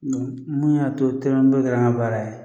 Mun y'a to don kɛra n ka baara ye